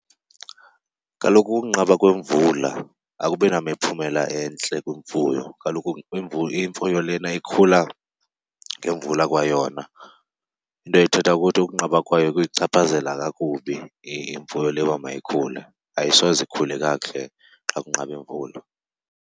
Kaloku ukunqaba kwemvula akubi namiphumela entle kwimfuyo, kaloku imfuyo lena ikhula ngemvula kwayona. Into ethetha ukuthi ukunqaba kwayo kuyichaphazela kakubi imfuyo leyo uba mayikhule. Ayisoze ikhule kakuhle xa kunqabe imvula.